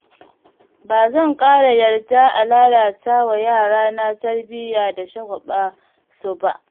Ba zan ƙara yarda a lallata wa yarana tarbiyya da shagwaɓa su ba